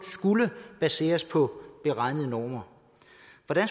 skulle baseres på beregnede normer